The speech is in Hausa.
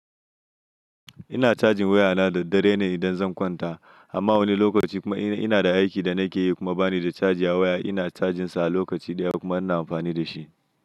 Ina cajin waya na da dare ne idan zan kwanta. Amma wani lokaci kuma in ina da aikin da nake yi kuma bani da charji a waya. Ina cajinsa a lokaci ɗaya kuma ina amfani da shi.